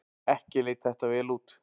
Ekki leit þetta vel út.